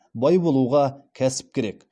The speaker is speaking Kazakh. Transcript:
бай болуға кәсіп керек